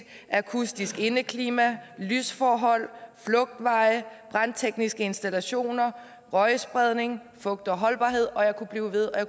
akustisk indeklima lysforhold flugtveje brandtekniske installationer røgspredning fugt og holdbarhed og jeg kunne blive ved og